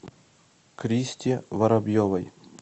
кристе воробьевой